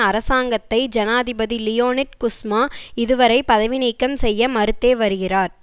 அரசாங்கத்தை ஜனாதிபதி Leonid Kuchma இதுவரை பதவி நீக்கம் செய்ய மறுத்தே வருகிறார்